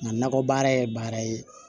Nka nakɔ baara ye baara ye